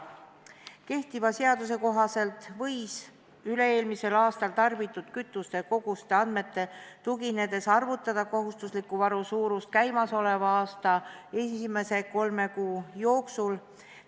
Kehtiva seaduse kohaselt võis üle-eelmisel aastal tarbitud kütusekoguste andmetele tuginedes arvutada kohustusliku varu suurust käimasoleva aasta esimese kolme kuu jooksul.